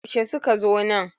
yaushe suka zo nan?